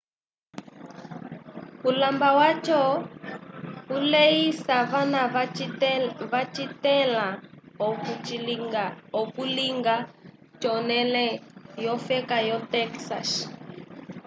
ulamaba waco uleisa vana vacithẽla okulinga conele yofeka yo texas